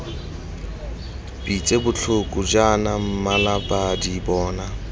pitse botlhoko jaana mmalabadi bona